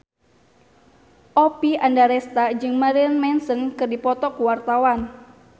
Oppie Andaresta jeung Marilyn Manson keur dipoto ku wartawan